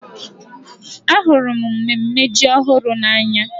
Ahụrụ m mmemme ji ọhụrụ n'anya.